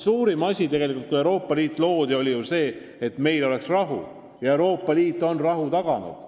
Suurim siht Euroopa Liidu loomisel oli ju see, et meil oleks rahu, ja Euroopa Liit on rahu taganud.